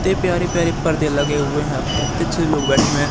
ते प्यारी प्यारी पर्दे लगे हुए हैं। खत्तेछे लोग बैठे हुए है।